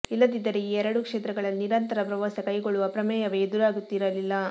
ಇಲ್ಲದಿದ್ದರೆ ಈ ಎರಡೂ ಕ್ಷೇತ್ರಗಳಲ್ಲಿ ನಿರಂತರ ಪ್ರವಾಸ ಕೈಗೊಳ್ಳುವ ಪ್ರಮೇಯವೇ ಎದುರಾಗುತ್ತಿರಲಿಲ್ಲ